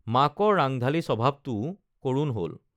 মাকৰ ৰাংঢালী স্বভাৱটোও কৰুণ হল